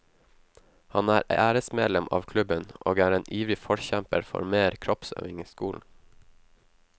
Han er æresmedlem av klubben, og er en ivrig forkjemper for mer kroppsøving i skolen.